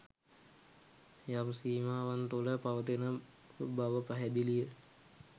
යම් සීමාවන් තුළ පවතින බව පැහැදිලි ය.